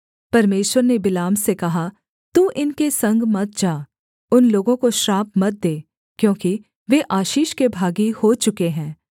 परमेश्वर ने बिलाम से कहा तू इनके संग मत जा उन लोगों को श्राप मत दे क्योंकि वे आशीष के भागी हो चुके हैं